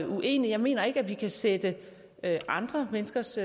uenig jeg mener ikke at vi kan sætte andre menneskers